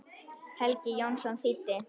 Helgi Jónsson þýddi.